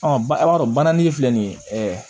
ba i b'a dɔn banangi filɛ nin ye ɛɛ